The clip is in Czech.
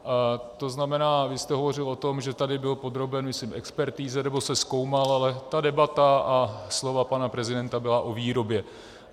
To znamená, vy jste hovořil o tom, že tady byl podroben, myslím, expertize, nebo se zkoumal, ale ta debata a slova pana prezidenta byly o výrobě.